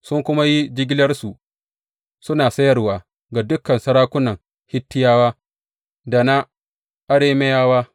Sun kuma yi jigilarsu suna sayarwa ga dukan sarakunan Hittiyawa da na Arameyawa.